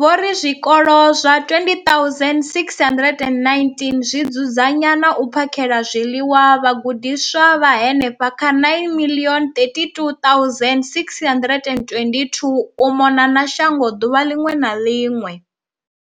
vho ri zwikolo zwa 20 619 zwi dzudzanya na u phakhela zwiḽiwa vhagudiswa vha henefha kha 9 032 622 u mona na shango ḓuvha ḽiṅwe na ḽiṅwe.